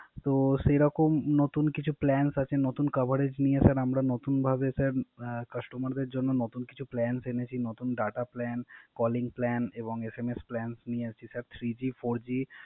তো সেইরকম নতুন কিছু Plans আছে, নতুন কাভারেজ নিয়ে স্যার আমরা নতুনভাবে স্যার কাস্টমারদের জন্য নতুন কিছু Plans এনেছি নতুন Data plan, calling plan, এবং SMS plan, three G, fourG